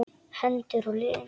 Hendur og lim.